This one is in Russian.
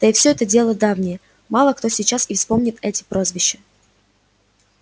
да и все это дело давнее мало кто сейчас и вспомнит эти прозвища